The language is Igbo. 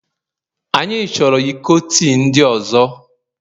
Anyị chọrọ iko tii ndị ọzọ